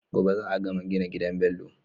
Gobe za a gama gina gidan Bello